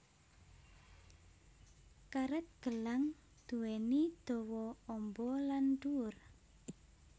Karet gelang duwéni dawa amba lan dhuwur